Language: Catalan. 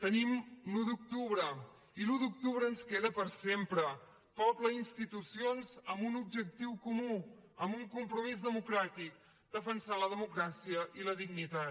tenim l’un d’octubre i l’un d’octubre ens queda per sempre poble i institucions amb un objectiu comú amb un compromís democràtic defensar la democràcia i la dignitat